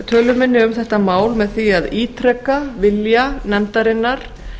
tölu minni um þetta mál með því að ítreka vilja nefndarinnar